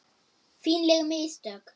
Fínleg mistök.